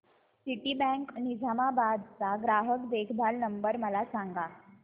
Citibank Nizamabad चा ग्राहक देखभाल नंबर मला सांगा